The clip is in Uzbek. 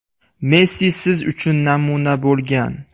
Messi siz uchun namuna bo‘lgan.